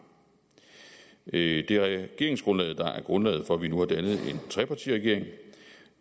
det er regeringsgrundlaget der er grundlaget for at vi nu har dannet en trepartiregering